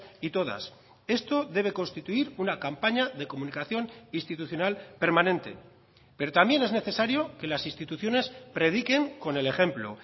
y todas esto debe constituir una campaña de comunicación institucional permanente pero también es necesario que las instituciones prediquen con el ejemplo